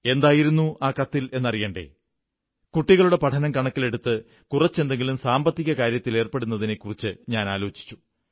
എന്തായിരുന്നു ആ കത്തിലെന്നറിയണ്ടേ കുട്ടികളുടെ പഠനം കണക്കിലെടുത്ത് കുറച്ചെന്തെങ്കിലും സാമ്പത്തിക കാര്യത്തിലേർപ്പെടുന്നതിനെക്കുറിച്ചാലോചിച്ചു